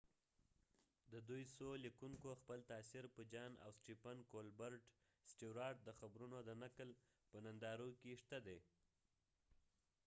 ددوي څو لیکونکو خپل تاثیر په جان سټیوارتjohn stewart او سټیفن کولبرټ stephen colbert د خبرونو د نقل په نندارو کې شته دي